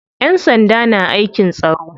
Ƴan sanda na aikin tsaro.